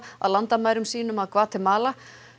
að landamærum sínum að Gvatemala